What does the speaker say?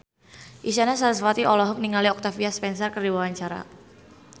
Isyana Sarasvati olohok ningali Octavia Spencer keur diwawancara